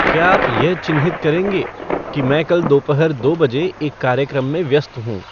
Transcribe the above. क्या आप यह चिन्हित करेंगे कि मैं कल दोपहर दो बजे एक कार्यक्रम में व्यस्त हूँ